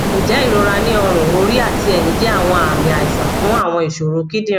njẹ irora ni ọrun ori ati ẹhin jẹ awọn aami aisan fun awọn iṣoro kidinrin